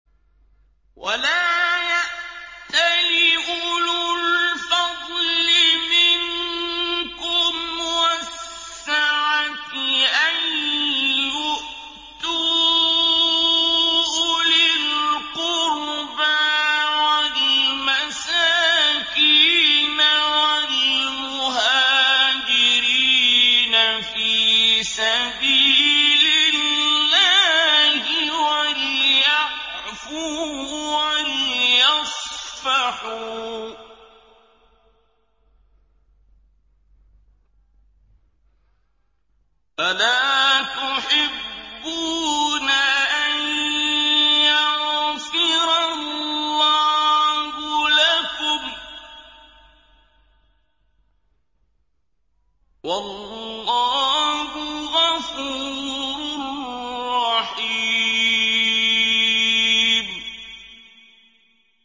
وَلَا يَأْتَلِ أُولُو الْفَضْلِ مِنكُمْ وَالسَّعَةِ أَن يُؤْتُوا أُولِي الْقُرْبَىٰ وَالْمَسَاكِينَ وَالْمُهَاجِرِينَ فِي سَبِيلِ اللَّهِ ۖ وَلْيَعْفُوا وَلْيَصْفَحُوا ۗ أَلَا تُحِبُّونَ أَن يَغْفِرَ اللَّهُ لَكُمْ ۗ وَاللَّهُ غَفُورٌ رَّحِيمٌ